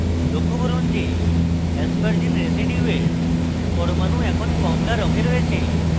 লক্ষ্য করুন যে aspargine রেসিডিউয়ের পরমাণু এখন কমলা রঙে রয়েছে